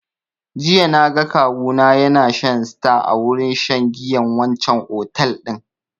Jiya na ga kawu na ya na shan star a wurin shan giyan wancan otel din